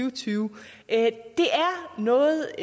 og tyve det er noget